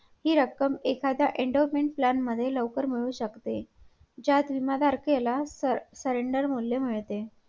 ती एक त्यांच्या हातची जादू बघायला भेटते की ऐवढ्या वरती जाऊन गडकिल्ले बांधणं सोपं नाहीये.